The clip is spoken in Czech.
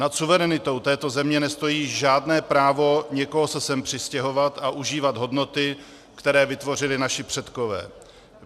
Nad suverenitou této země nestojí žádné právo někoho se sem přistěhovat a užívat hodnoty, které vytvořili naši předkové.